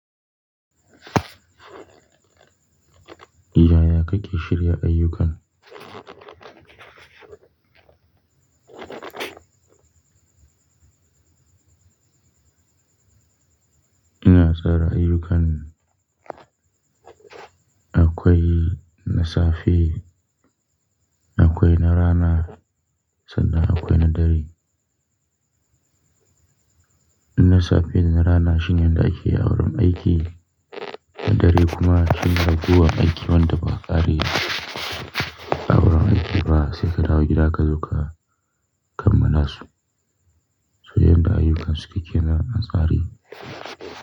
Yaya kake shirya ayyuka. Ina tsara ayyukan. Akwai na safe, akwai na rana sannan akwai na dare. Na safe da na rana shine yanda ake awurin aiki, na dare kuma shine ragowar aiki wanda ba a ƙare awurin aiki ba sai ka dawo gida ka zo ka kammala su. To yadda ayyuka suke kenan a tsare.